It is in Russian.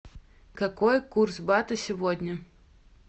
какой курс бата сегодня